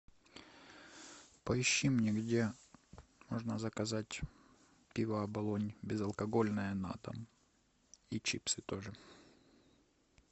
поищи мне где можно заказать пиво оболонь безалкогольное на дом и чипсы тоже